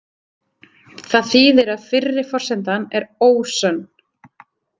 Það þýðir að fyrri forsendan er „ósönn“.